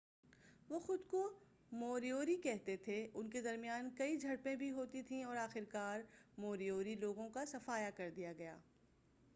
وہ خود کو موریوری کہتے تھے ان کے درمیان کئی جھڑپیں بھی ہوتی تھیں اور آخر کار موریوری لوگوں کا صفایا کردیا گیا